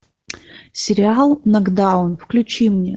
сериал нокдаун включи мне